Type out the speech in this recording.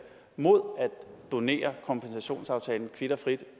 mod at donere kompensationsaftalen kvit og frit